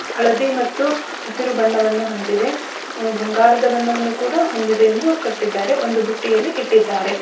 ಹಳದಿ ಮತ್ತು ಹಸಿರು ಬಣ್ಣವನ್ನು ಹೊಂದಿವೆ ಬಂಗಾರದ ಬಣ್ಣವನ್ನು ಕೂಡ ಹೊಂದಿದೆ ಎಂದು ಕಟ್ಟಿದ್ದಾರೆ ಒಂದು ಬುಟ್ಟಿಯಲ್ಲಿ ಇಟ್ಟಿದ್ದಾರೆ.